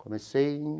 Comecei em...